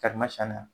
Karimasina